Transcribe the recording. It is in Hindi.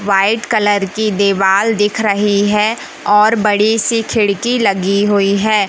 वाइट कलर की दीवाल दिख रही है और बड़ी सी खिड़की लगी हुई है।